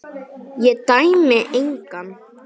Ég dæmi engan.